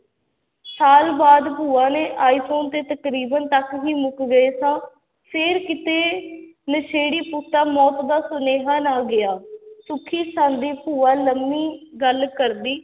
ਸਾਲ ਬਾਅਦ ਭੂਆ ਨੇ ਤੇ ਤਕਰੀਬਨ ਤੱਕ ਹੀ ਮੁੱਕ ਗਏ ਸਾਂ, ਫਿਰ ਕਿਤੇ ਨਸ਼ੇੜੀ ਪੁੱਤ ਦਾ ਮੌਤ ਦਾ ਸੁਨੇਹਾ ਨਾ ਗਿਆ, ਸੁੱਖੀ ਸਾਂਦੀ ਭੂਆ ਲੰਮੀ ਗੱਲ ਕਰਦੀ